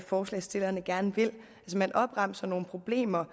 forslagsstillerne gerne vil man opremser nogle problemer